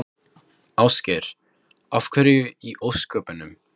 Ásgeir: Af hverju í ósköpunum?